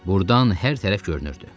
Burdan hər tərəf görünürdü.